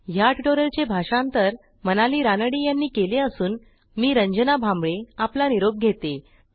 ह्या ट्युटोरियलचे भाषांतर मनाली रानडे यांनी केले असून मी रंजना भांबळे आपला निरोप घेते